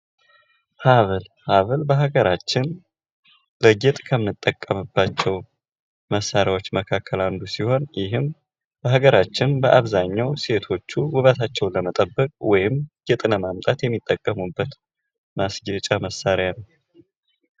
ሃብል በሃገራችን ለጌጥ ከምንጠቀምባቸው መሣሪያዎች መካከል አንዱ ሲሆን ይህም በሀገራችን ሴቶቹ ውበታቸውን ለመጠበቅ ወይም ጌጥ ለማምጣት የሚጠቀሙበት ማስጌጫ መሳሪያ ነው።